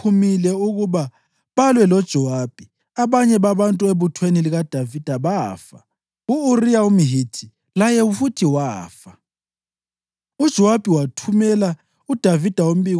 Kwathi abantu bakulelodolobho sebephumile ukuba balwe loJowabi, abanye babantu ebuthweni likaDavida bafa; u-Uriya umHithi laye futhi wafa.